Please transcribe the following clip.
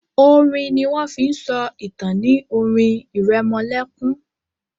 orin ní wón fín so ìtàn ní orin iremolekun